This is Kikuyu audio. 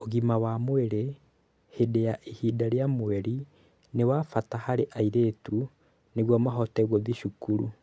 Ũgima wa mwĩrĩ hĩndĩ ya ihinda rĩa mweri nĩ wa bata harĩ airĩtu nĩguo mahote gũthiĩ cukuru.